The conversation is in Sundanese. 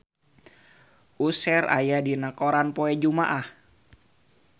Usher aya dina koran poe Jumaah